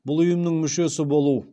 бұл ұйымның мүшесі болу